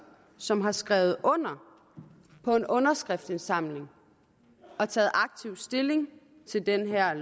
som har skrevet under på en underskriftindsamling og taget aktivt stilling til det her